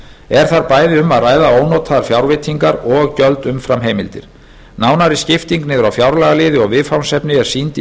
er þar bæði um að ræða ónotaðar fjárveitingar og gjöld umfram heimildir nánari skipting niður á fjárlagaliði og viðfangsefni er sýnd í